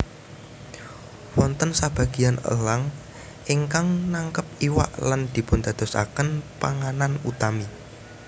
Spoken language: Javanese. Wonten sabagéyan elang ingkang nangkep iwak lan dipundadosaken panganan utami